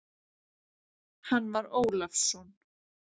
Hann var Ólafsson.